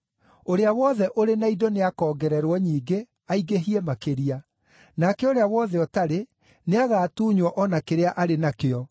Ũrĩa wothe ũrĩ na indo nĩakoongererwo nyingĩ aingĩhie makĩria. Nake ũrĩa wothe ũtarĩ, nĩagatuunywo o na kĩrĩa arĩ nakĩo.